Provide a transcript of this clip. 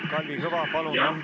Jah, Kalvi Kõva, palun!